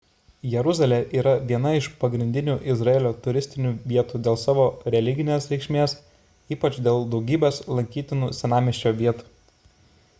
jeruzalė yra viena iš pagrindinių izraelio turistinių vietų dėl savo religinės reikšmės ypač dėl daugybės lankytinų senamiesčio vietų